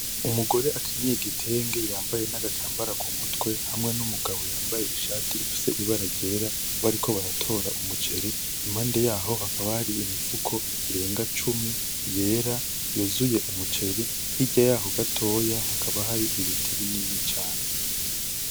umugore akenyeye igitenge yambaye nagatambara k'umutwe hamwe n'umugambo yambaye ishati ifise ibara ryera bariko baratora umuceri impande yaho hakaba hari imifuko irenga cumi, yera ,yuzuye umuceri hirya yaho gatoya hakaba hari ibiti binini cane .